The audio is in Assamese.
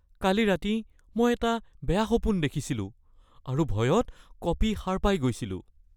কালি ৰাতি মই এটা বেয়া সপোন দেখিছিলোঁ আৰু ভয়ত কঁপি সাৰ পাই গৈছিলোঁ